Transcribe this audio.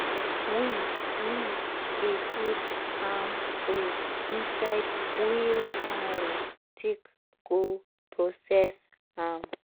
we we dey put palm fruit inside wheelbarrow take go process am.